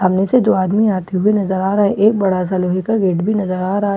आगे से दो आदमी आते हुए नजर आ रहे हैं एक बड़ा सा लोहे का गेट बी नजर आ रहा हैं --